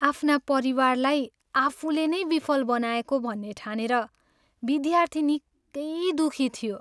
आफ्ना परिवारलाई आफूले नै विफल बनाएको भन्ने ठानेर विद्यार्थी निकै दुखी थियो।